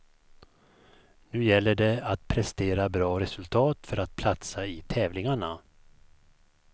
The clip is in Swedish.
Nu gäller det att prestera bra resultat för att platsa i tävlingarna.